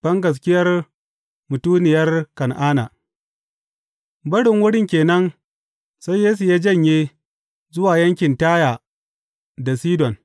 Bangaskiyar mutuniyar Kan’ana Barin wurin ke nan, sai Yesu ya janye zuwa yankin Taya da Sidon.